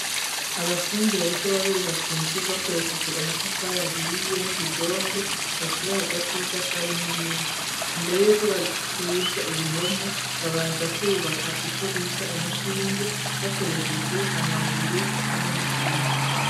Abafundi, bariko barubaka inzu, bakoresheje, amatafari ahiye, n'ubudongo, bashira hagati y'itafari, n'irindi; imbere y'uko, baduza ibihome, babanza kwubaka, ico bita, umushinge, bakoresheje amabuye, hamwe n'isima.